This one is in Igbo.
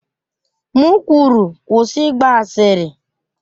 M kwuru, kwụsị ịgba asịrị!